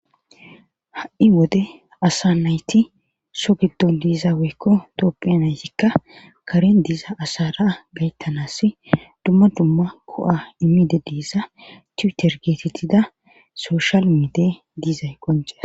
Ha,i wode asa nayti so giddon diizaweykko toopphiya naytikka karen diza asara gayttanas dumma dumma ko7a immide diiza tuuter geetetida soshal mide diizay qoncesa